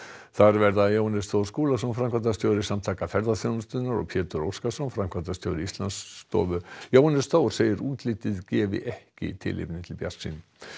þar verða Jóhannes Þór Skúlason framkvæmdastjóri Samtaka ferðaþjónustunnar og Pétur Óskarsson framkvæmdastjóri Íslandsstofu Jóhannes Þór segir að útlitið gefi ekki tilefni til bjartsýni